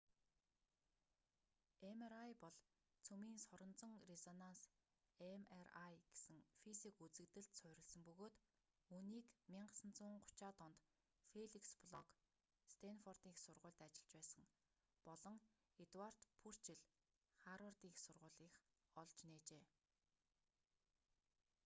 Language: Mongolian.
mri бол цөмийн соронзон резонанс mri гэсэн физик үзэгдэлд суурилсан бөгөөд үүнийг 1930-аад онд феликс блок стэнфордын их сургуульд ажиллаж байсан болон эдуард пурчелл харвардын их сургуулийнх олж нээжээ